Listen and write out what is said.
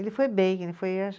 Ele foi bem, ele foi